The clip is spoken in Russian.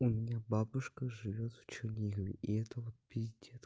у меня бабушка живёт в чернигове и это вот пиздец